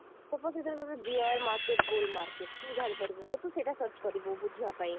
suppose ସେଇଥିରେ ତତେ dear market bull market ତୁ ଜାଣିପାରିବୁନି ତ ତୁ ସେଟା search କରିବୁ ବୁଝିବା ପାଇଁ